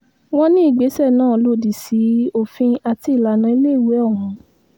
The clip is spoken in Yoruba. wọ́n ní ìgbésẹ̀ náà lòdì sí òfin àti ìlànà iléèwé ọ̀hún